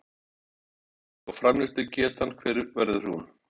Magnús Hlynur: Og framleiðslugetan hver verður hún?